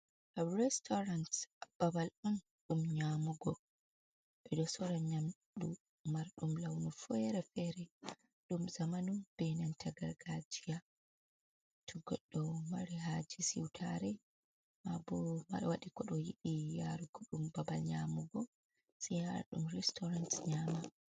Restorans babal on ɗum nyamugo, ɓedo sora nyamdu marɗum launu fere - fere, ɗum zamanu ɓena gargajiya, to godɗo mari haje siutare mabo waɗi kodo yiɗi yaru gudum babal nyamugo se yara ɗum restoran nyama.